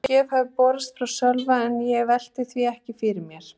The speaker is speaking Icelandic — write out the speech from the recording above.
Engin gjöf hafði borist frá Sölva en ég velti því ekkert fyrir mér.